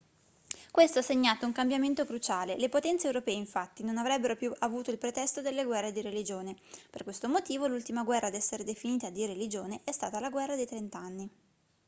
questo ha segnato un cambiamento cruciale le potenze europee infatti non avrebbero più avuto il pretesto delle guerre di religione per questo motivo l'ultima guerra ad essere definita di religione è stata la guerra dei trent'anni